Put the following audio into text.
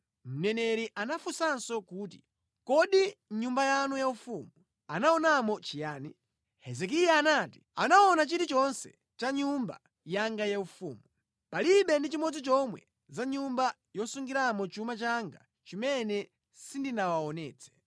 Mneneri anafunsanso kuti, “Kodi mʼnyumba yanu yaufumu anaonamo chiyani?” Hezekiya anati, “Anaona chilichonse cha mʼnyumba yanga yaufumu. Palibe ndi chimodzi chomwe za mʼnyumba yosungiramo chuma changa chimene sindinawaonetse.”